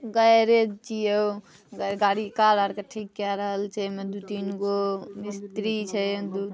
Garage इयो। गाड़ी car आर के ठीक कैय रहल छै। एमे दु तीन गो मिस्त्री छै दु--